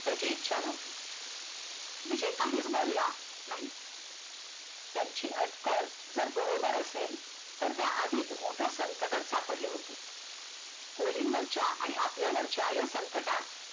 त्याची इच्छा नव्हती विजय काहीच बोलला नाही, त्यांची अटकल जर बरोबर असेल तर त्याआधीच मोठ्या संकटात सापडले होते कोलीन वरच्या आणि आपल्यावरच्या या संकटात